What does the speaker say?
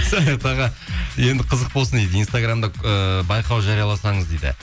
саят аға енді қызық болсын дейді инстаграмда ыыы байқау жарияласаңыз дейді